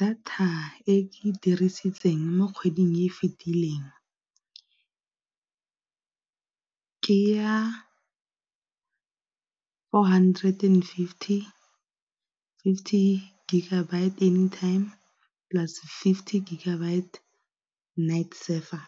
Data e ke dirisitseng mo kgweding e e fetileng ke ya four hundred and fifty, fifty gigabyte anytime plus fifty gigabyte night server.